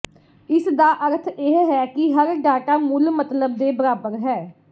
ਇਸਦਾ ਅਰਥ ਇਹ ਹੈ ਕਿ ਹਰ ਡਾਟਾ ਮੁੱਲ ਮਤਲਬ ਦੇ ਬਰਾਬਰ ਹੈ